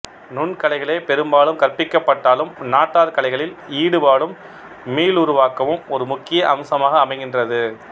நுண்கலைகளே பெரும்பாலும் கற்பிக்கப்பட்டாலும் நாட்டார் கலைகளில் ஈடுபாடும் மீள்ளுருவாக்கமும் ஒரு முக்கிய அம்சமாக அமைகின்றது